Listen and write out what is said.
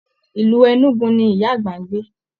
Ilú Enugu ní ìyá àgbà n gbé.